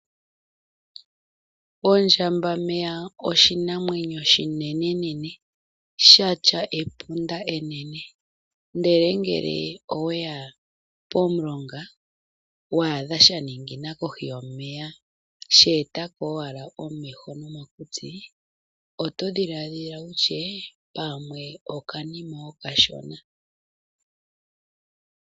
Ondjambameya oshinamwenyo oshinene sha tya epunda enene. Uuna we ya pomulonga e to adha sha eta ko owala omutse kombanda yomeya oto ti owala okanamwenyo okashona.